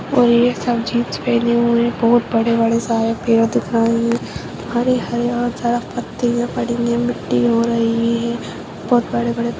और ये सब जीन्स पहने हुए हैं बहोत बड़े -बड़े सारे पेड़ दिख रहे हैं हरे हरे और जरा पत्ते और बहुत बड़े बड़े--